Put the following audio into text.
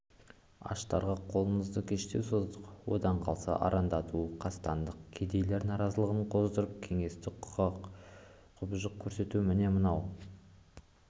аштарға қолымызды кештеу создық одан қалса арандату қастандық кедейлер наразылығын қоздырып кеңесті құқай-құбыжық көрсету міне мынау